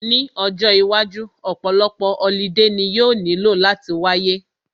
Ní ọjọ́ iwájú, ọ̀pọ̀lọpọ̀ holiday ni yóò nílò láti wáyé